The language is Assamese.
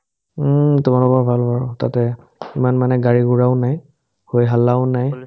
উম্, তোমালোকৰ ভাল বাৰু তাতে ইমান মানে গাড়ী-ঘোৰাও নাই হৈ হাল্লাও নাই